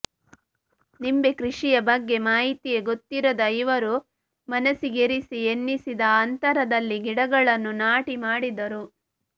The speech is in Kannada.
ನಿಂಬೆ ಕೃಷಿಯ ಬಗ್ಗೆ ಮಾಹಿತಿಯೇ ಗೊತ್ತಿರದ ಇವರು ಮನಸ್ಸಿಗೆಸರಿ ಎನ್ನಿಸಿದ ಅಂತರದಲ್ಲಿ ಗಿಡಗಳನ್ನು ನಾಟಿ ಮಾಡಿದರು